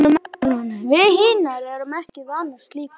Við hinar erum ekki vanar slíku.